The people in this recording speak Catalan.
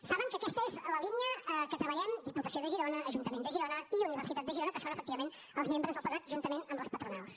saben que aquesta és la línia que treballem diputació de girona ajuntament de girona i universitat de girona que són efectivament els membres del patronat juntament amb les patronals